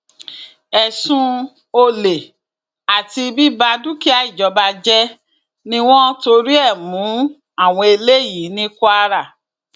ẹsùn olè àti bíba dúkìá ìjọba jẹ ni wọn torí ẹ mú àwọn eléyìí ní kwara